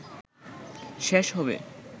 শেষ হবে